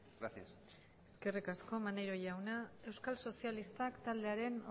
gracias eskerrik asko maneiro jauna euskal sozialistak taldearen